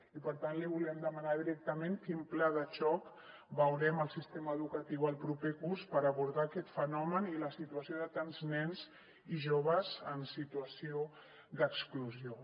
i per tant li volíem demanar directament quin pla de xoc veurem al sistema educatiu el proper curs per abordar aquest fenomen i la situació de tants nens i joves en situació d’exclusió